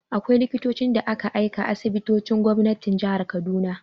Akwai Likitocin da ke aiki a asibitocin gwamnatin jihar Kaduna.